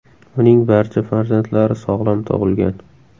Uning barcha farzandlari sog‘lom tug‘ilgan.